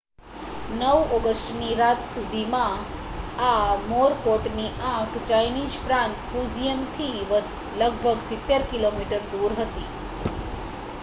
9 ઑગસ્ટની રાત સુધી, આ મોરકોટની આંખ ચાઇનીઝ પ્રાંત ફુજિયનથી લગભગ સિત્તેર કિલોમીટર દૂર હતી